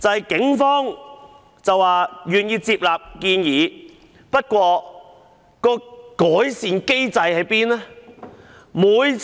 警方表示願意接納建議，但有何改善機制呢？